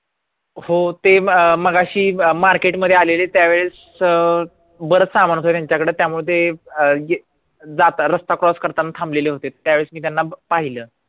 हो ते ते मगाशी market मध्ये आलेले त्यावेळेस अं बरंच सामान होतं त्यांच्याकडे त्यामुळे ते अं जाता रस्ता cross करतांना थांबलेले होते त्यावेळेस मी त्यांना पाहिलं